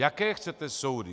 Jaké chcete soudy?